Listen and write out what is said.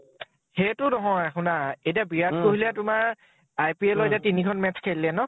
সেইটো নহয় । শুনা । এতিয়া বিৰাট কোহলি য়ে তোমাৰ IPL এতিয়া তিনিখন match খেলিলে ন ?